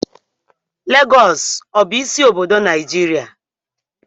Lagọọsù ọ bụ isi obodo Naijiria?